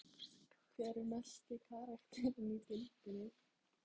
Hver er mesti karakterinn í deildinni?